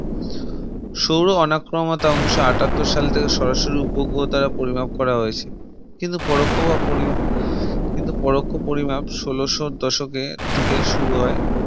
সৌর অনাক্রমতা উনিশশো আঠাত্তর সাল থেকে সরাসরি উপগ্রহ দ্বারা পরিমাপ করা হয়েছে কিন্তু পরোক্ষ বা পড়ি কিন্তু পরোক্ষ পরিমাপ ষোলোশো দশকের দিকে শুরু হয়